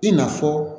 I na fɔ